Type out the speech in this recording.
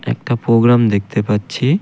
একটা প্রোগ্রাম দেখতে পাচ্ছি.